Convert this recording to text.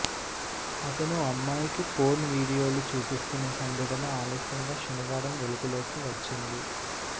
అతను అమ్మాయికి పోర్న్ వీడియోలు చూపిస్తున్న సంఘటన ఆలస్యంగా శనివారం వెలుగులోకి వచ్చింది